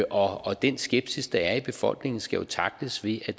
og den skepsis der er i befolkningen skal jo tackles ved at